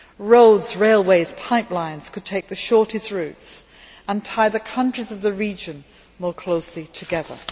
Roads, railways and pipelines could take the shortest routes, and tie the countries of the region more closely together.